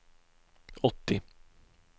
åttio